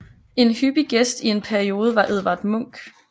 En hyppig gæst i en periode var Edvard Munch